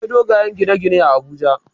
Akwai dogayen gine gine a Abuja